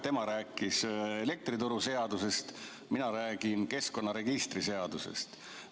Tema rääkis elektrituruseadusest, mina räägin keskkonnaregistri seadusest.